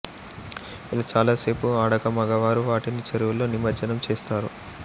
ఇలా చాలా సేపు ఆడాక మగవారు వాటిని చెరువులో నిమజ్జనం చేస్తారు